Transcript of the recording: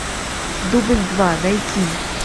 дубль два найти